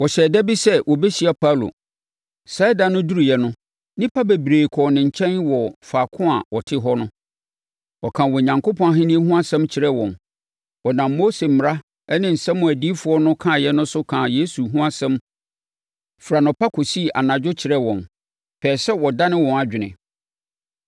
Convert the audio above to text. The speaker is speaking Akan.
Wɔhyɛɛ da bi sɛ wɔbɛhyia Paulo. Saa ɛda no duruiɛ no, nnipa bebree kɔɔ ne nkyɛn wɔ faako a ɔte hɔ no. Ɔkaa Onyankopɔn Ahennie no ho asɛm kyerɛɛ wɔn. Ɔnam Mose mmara ne nsɛm a adiyifoɔ no kaeɛ no so kaa Yesu ho asɛm firi anɔpa kɔsii anadwo kyerɛɛ wɔn, pɛɛ sɛ ɔdane wɔn adwene.